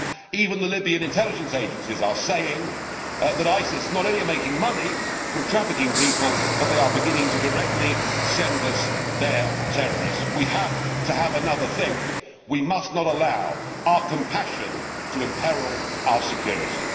it. Well, now even the Libyan intelligence agencies are saying that ISIS are not only making money from trafficking people but are also beginning to send us their terrorists directly. We need to have another think. We must not allow our compassion to imperil our security.